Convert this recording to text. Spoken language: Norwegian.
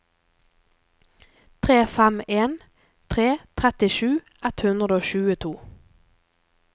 tre fem en tre trettisju ett hundre og tjueto